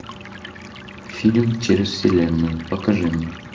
фильм через вселенную покажи мне